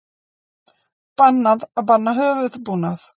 Bannað að banna höfuðbúnað